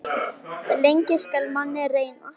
Lengi skal manninn reyna.